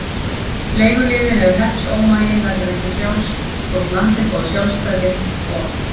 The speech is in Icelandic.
Leiguliðinn eða hreppsómaginn verður ekki frjáls þótt landið fái sjálfstæði, og.